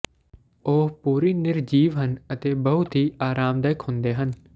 ਉਹ ਪੂਰੀ ਨਿਰਜੀਵ ਹਨ ਅਤੇ ਬਹੁਤ ਹੀ ਆਰਾਮਦਾਇਕ ਹੁੰਦੇ ਹਨ